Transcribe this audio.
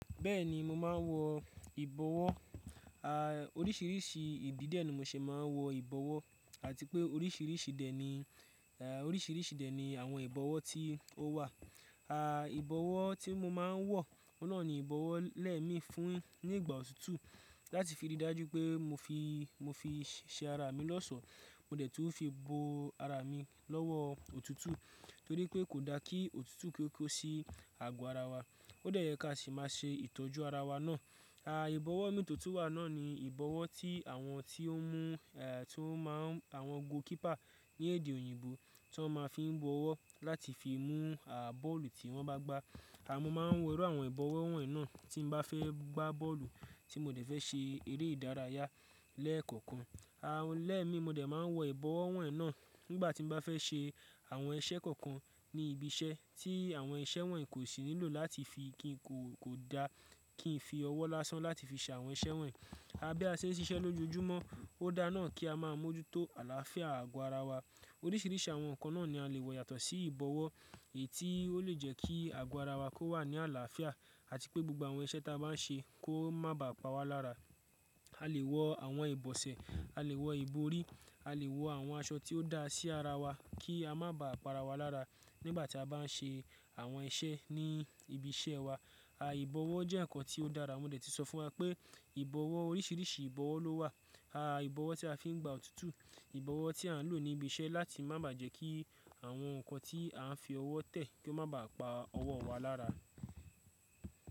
Bẹ́ẹ̀ni mo máa ń wọ ìbọwọ́, a oríṣiríṣi ìdí dẹ̀ ni mo ṣe máa ń wọ ìbọwọ́ àti pé oríṣiríṣi dẹ̀ ni oríṣiríṣi dẹ̀ ni àwọn ìbọwọ́ tí ó wà. A ìbọwọ́ tí mo máa ń wọ, ohun nọ́ni ìbọwọ́ lẹ́mi fún ní ìgbà òtútù láti fi rí i dájú pé mo fi, mo fi ṣe ara mi lọ́sọ̀ọ́. Mo dẹ̀ tú fi bo ara mi lọ́wọ́ òtútù torí pé kò da kí òtútù ki o ko sí agọ ara wa. Ó dẹ̀ yẹ ká sì máa ṣe ìtọ́jú ara wa náà. A ìbọwọ́ mi tó tun wà náà ni ìbọwọ́ tí àwọn tí ó mú ẹ́ tí ó máa ń àwọn goalkeeper ní èdè òyìnbó tí wọn máa ń fi ń bọwọ́ láti fi mú a bọ́ọ̀lù tí wọ́n bá gbá. A mo máa ń wọ ẹrú àwọn ìbọwọ́ wọ̀nyí náà tí mo bá fẹ́ gbá bọ́ọ̀lù tí mo dẹ̀ fẹ́ ṣe eré ìdárayá lẹ́ẹ̀kọ̀kan. A lẹ́ẹ̀mi mo dẹ̀ máa ń wọ ìbọwọ́ wọ̀nyí náà nígbà tí mo bá fẹ́ ṣe àwọn iṣẹ́ kọ̀ọ̀kan ní ibi iṣẹ́ tí àwọn iṣẹ́ wọ̀nyí kò sì nílò láti fi kí n kò, kò da kí n fi ọwọ́ lásán láti fi ṣe àwọn iṣẹ́ wọ̀nyí. A bí a ṣe ń ṣiṣẹ́ lójoojúmọ́, ó dá náà kí a máa mójútó àlàáfíà agọ ara wa. Oríṣiríṣi àwọn nǹkan náà ni a lè wọ yàtọ̀ sí ìbọwọ́ èyí tí ó lè jẹ́ kí ago ara wa kó wà ní àlàáfíà àti pé gbogbo àwọn iṣẹ́ tí a bá ń ṣe kó má bá pa wa lára. A lè wọ àwọn ìbọ̀sẹ̀, a lè wọ ìborí, a lè wọ àwọn aṣọ tí ó dáa sí ara wa kí a má bá pa ara wa lára nígbà tí a bá ń ṣe àwọn iṣẹ́ ní ibi iṣẹ́ wa. A ìbọwọ́ jẹ́ nǹkan tí ó dára. Wọ́n dẹ̀ ti sọ fún wa pé ìbọwọ́ oríṣiríṣi ìbọwọ́ ló wà. A ìbọwọ́ tí a fi ń gbá òtútù, ìbọwọ́ tí a ń lò ní ibi iṣẹ́ láti ma má bà jẹ́ kí àwọn nǹkan tí a fi ọwọ́ tẹ̀ kí ó má bá pa ọwọ́ wa lára.